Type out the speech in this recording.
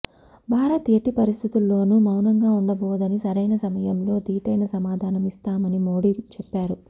భారత్ ఎట్టి పరిస్థితుల్లోను మౌనంగా ఉండబోదని సరైన సమయంలో ధీటైన సమాధానం ఇస్తామని మోడీ చెప్పారు